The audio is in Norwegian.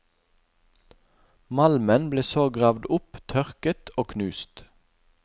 Malmen ble så gravd opp tørket og knust.